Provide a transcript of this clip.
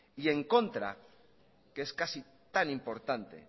y en contra que es casi tan importante